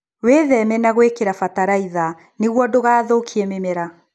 Wĩtheme na gũkĩria bataraitha nĩguo ndugathũkie mĩmera.